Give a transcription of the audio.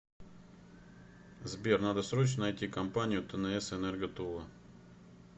сбер надо срочно найти компанию тнс энерго тула